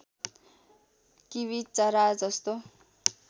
kiwi चरा जस्तो